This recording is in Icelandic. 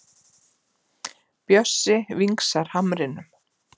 Bjössi vingsar hamrinum.